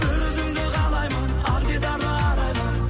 бір өзіңді қалаймын ақ дидарлы арайлым